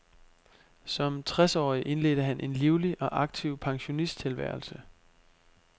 Som tres årig indledte han en livlig og aktiv pensionisttilværelse.